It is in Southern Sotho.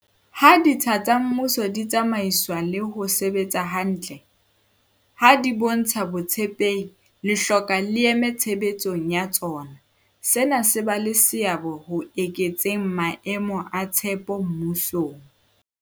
Ha ditsha tsa mmuso di tsamaiswa le ho sebetsa hantle, ha di bontsha botshepehi le hloka leeme tshebetsong ya tsona, sena se ba le seabo ho eketseng maemo a tshepo mmusong.